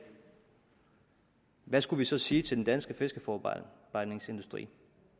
hvad skulle vi så sige til den danske fiskeforarbejdningsindustri